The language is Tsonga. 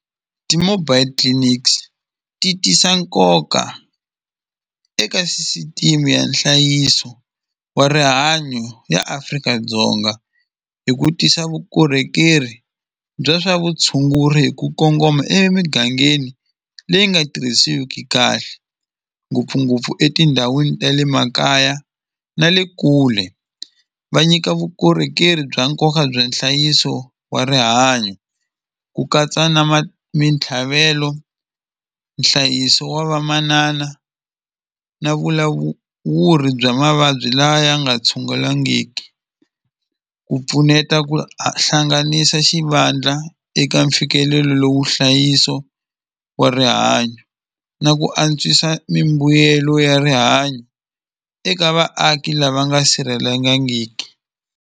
Ti-mobile clinics ti tisa nkoka eka sisitimi ya nhlayiso wa rihanyo ya Afrika-Dzonga hi ku tisa vukorhokeri bya swa vutshunguri hi ku kongoma emigangeni leyi nga tirhisiwiki kahle ngopfungopfu etindhawini ta le makaya na le kule va nyika vukorhokeri bya nkoka bya nhlayiso wa rihanyo ku katsa na mitlhavelo nhlayiso wa vamanana na bya mavabyi lawa ya nga tshungulangiki ku pfuneta ku hlanganisa xivandla eka mfikelelo lowu nhlayiso wa rihanyo na ku antswisa mimbuyelelo ya rihanyo eka vaaki lava nga sirhelengangiki.